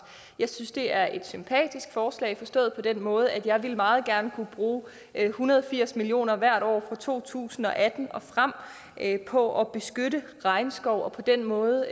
jeg synes det er et sympatisk forslag forstået på den måde at jeg meget gerne ville kunne bruge en hundrede og firs million kroner hvert år fra to tusind og atten og frem på at beskytte regnskov og på den måde